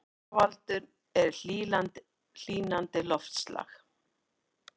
Orsakavaldurinn er hlýnandi loftslag